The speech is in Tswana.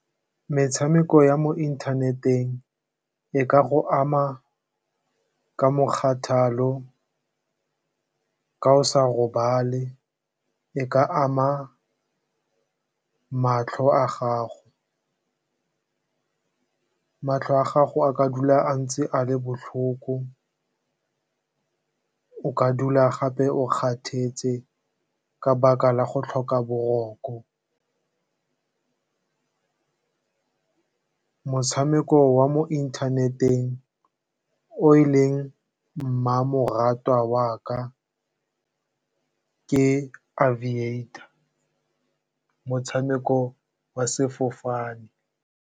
Metshameko ya mo inthaneteng e ka go ama ka mokgathala, ka go sa robale, e ka ama matlho a gago. Matlho a gago a ka dula a ntse a le botlhoko, o ka dula gape o kgathetse ka 'baka la go tlhoka boroko. Motshameko wa mo inthaneteng o e leng mmamoratwa wa ka, ke aviator, motshameko wa sefofane.